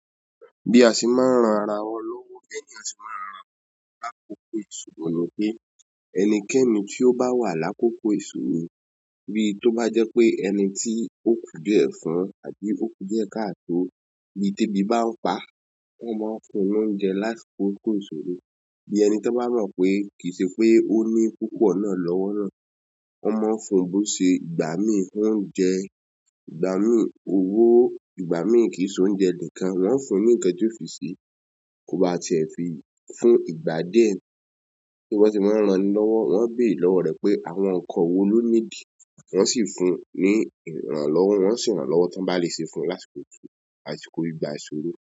Bí a ṣe máa ń ran ara wọn lọ́wọ́, bẹ́ẹ́ ni a sì máa ń ranra lákòókò ìṣòro nipé ẹnikẹ́ni tí ó bá wà lákòókò ìṣòro bí tó bá jẹ́ pé ẹni tí ó kú diẹ fún àbí ó kú díẹ̀ kààtò bíi tẹ́bí bá ń pa, wọ́n máa ń fún wọn ní oúnjẹ lásìkò ìṣòro. Bí ẹni tan bá mọ̀ pé kì í ṣe pé ó ní púpọ̀ náà lọ́wọ́ náà, wọ́n máa ń fún bó ṣe ìgbá mi oúnjẹ, ìgbá mi òwò, ìgbá mi kì í ṣe oúnjẹ nìkan, wọ́n o fún ní ǹkan tí ó fi sẹ kó ba ti ẹ̀ fi fún ìgbà díẹ̀ so bi wọ́n sẹ̀ máa ń ran ni lọ́wọ́. Wọn béèrè lọwọ rẹ pe àwọn nǹkan wò ló niidi wọn sí fún ni ìrànlọ́wọ́. Wọn sí rán l'ọwọ tán bá lè ṣe fún ni lásìkò àsìkò ìgbà ìṣòro.